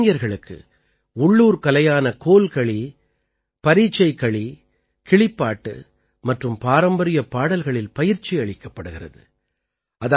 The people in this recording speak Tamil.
இங்கே இளைஞர்களுக்கு உள்ளூர் கலையான கோல்களி பரசைகளி கிளிப்பாட்டு மற்றும் பாரம்பரிய பாடல்களில் பயிற்சியளிக்கப்படுகிறது